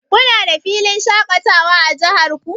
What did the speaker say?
Kuna da filin shaƙatawa a jihar ku?